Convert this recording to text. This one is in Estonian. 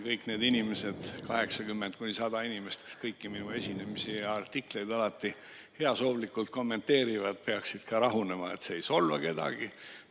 Kõik need inimesed, 80–100 inimest, kes kõiki minu esinemisi ja artikleid alati heasoovlikult kommenteerivad, peaksid rahunema – see ei solva kedagi.